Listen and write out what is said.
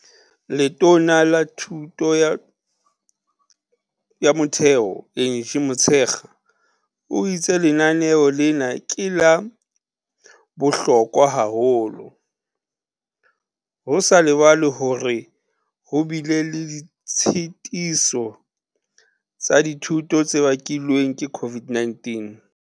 Letona la Thuto ya Motheo Angie Motshekga o itse lenaneo lena ke la bohlokwa haholo, ho sa lebalwe hore ho bile le ditshetiso tsa dithuto tse bakilweng ke COVID-19.